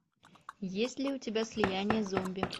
есть ли у тебя слияние зомби